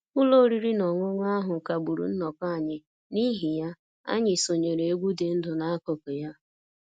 Ụlọ oriri na ọṅụṅụ ahụ kagburu nnọkọ anyị, n'ihi ya, anyị sonyeere egwu dị ndụ n'akụkụ ya